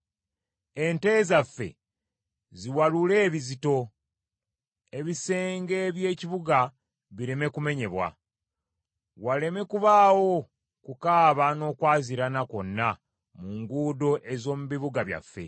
Ente zaffe ziwalule ebizito. Ebisenge by’ekibuga bireme kumenyebwa. Waleme kubaawo kukaaba n’okwaziirana kwonna mu nguudo ez’omu bibuga byaffe.